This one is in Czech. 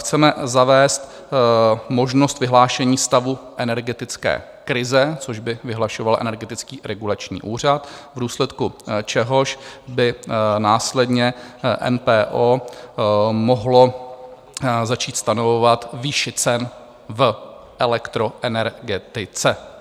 Chceme zavést možnost vyhlášení stavu energetické krize, což by vyhlašoval Energetický regulační úřad, v důsledku čehož by následně MPO mohlo začít stanovovat výši cen v elektroenergetice.